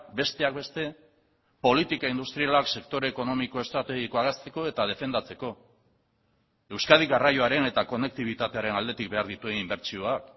besteak beste politika industrialak sektore ekonomiko estrategikoa hazteko eta defendatzeko euskadi garraioaren eta konektibitatearen aldetik behar dituen inbertsioak